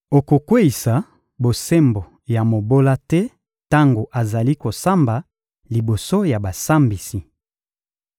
Okokweyisa bosembo ya mobola te tango azali kosamba liboso ya basambisi.